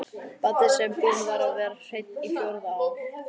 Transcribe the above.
Baddi sem búinn var að vera hreinn á fjórða ár.